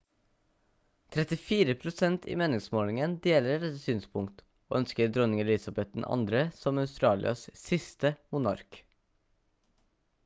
34 prosent i meningsmålingen deler dette synspunkt og ønsker dronning elizabeth ii som australias siste monark